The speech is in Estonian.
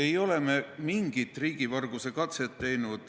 Ei ole me mingit riigivarguse katset teinud.